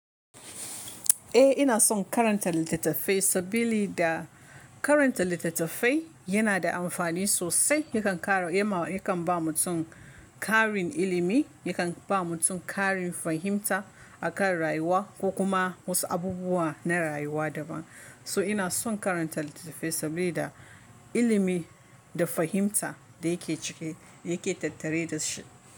Eh ina son karanta littattafai sabili da, karanta littattafai, yana da amfani sosai. Yakan kara yema yakan ba mutum karin ilimi, yakan ba mutum karin fahimta akan rayuwa ko kuma wasu abubuwa na rayuwa daban. So ina son karanta littattafai, sabili da ilimi, da fahimta da yake ciki, yake tattare da shi.